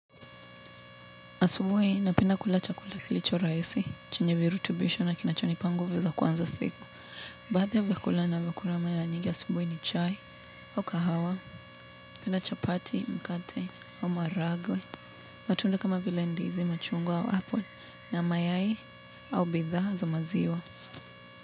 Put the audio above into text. Asubuhi napenda kula chakula kilicho rahisi, chenye virutubisho na kinachonipa nguvu za kuanza siku. Badhi vyakula navyokula mara nyingi asubuhi ni chai au kahawa, pia na chapati, mkate au maharagwe, matunda kama vile ndizi machungwa au apple na mayai au bidhaa za maziwa.